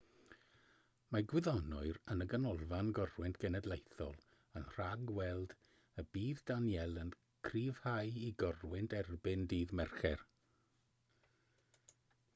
mae gwyddonwyr yn y ganolfan gorwynt genedlaethol yn rhag-weld y bydd danielle yn cryfhau i gorwynt erbyn dydd mercher